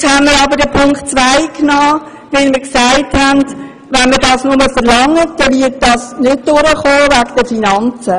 Wir haben Punkt 2 aufgenommen, weil wir uns sagten: Wenn wir nur das verlangen, wird es aus finanziellen Gründen nicht durchkommen.